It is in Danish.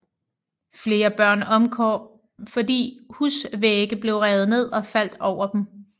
Flere børn omkom fordi husvægge blev revet ned og faldt over dem